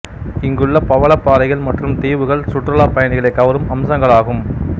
இங்குள்ள பவளப் பாறைகள் மற்றும் தீவுகள் சுற்றுலாப் பயணிகளைக் கவரும் அம்சங்களாகும்